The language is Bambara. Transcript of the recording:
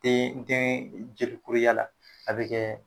Den dɛn jelikuruya la a bɛ kɛ